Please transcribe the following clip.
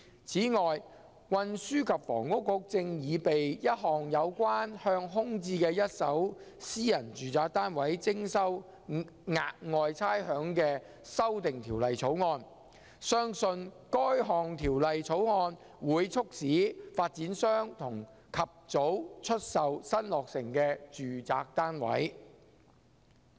此外，運輸及房屋局正擬備一項有關向空置的一手私人住宅單位徵收"額外差餉"的法案，相信該項法案會促使發展商及早出售新落成的住宅單位。